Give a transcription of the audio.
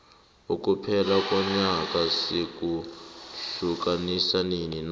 ukuphela konyaka sikuhiukanisa nini na